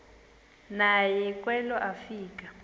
naye kwelo afika